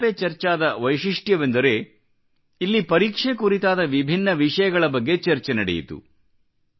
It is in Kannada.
ಪರೀಕ್ಷಾ ಪೆ ಚರ್ಚಾ ದ ವೈಶಿಷ್ಟ್ಯವೆಂದರೆ ಇಲ್ಲಿ ಪರೀಕ್ಷೆ ಕುರಿತಾದ ವಿಭಿನ್ನ ವಿಷಯಗಳ ಬಗ್ಗೆ ಚರ್ಚೆ ನಡೆಯಿತು